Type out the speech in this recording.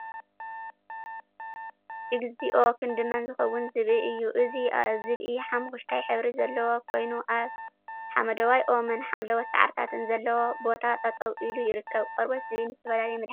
እግዚኦ! ክንድመን ዝኸውን ዝብኢ እዩ። እዚ ዝብ ኢ ሓመኩሽታይ ሕብሪ ዘለዎ ኮይኑ ኣብ ሓመደዋይ ኦምን ሓምለዎት ሳዕሪታትን ዘለዎ ቦታ ጠጠው ኢሉ ይርከብ። ቆርበት ዝብኢ ንዝተፈላለዩ መድሓኒታት ይጠቅም።